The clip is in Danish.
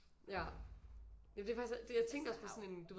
Ja ja det er faktisk jeg tænkte også på sådan en du ved